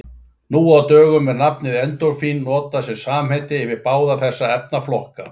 Nú á dögum er nafnið endorfín notað sem samheiti yfir báða þessa efnaflokka.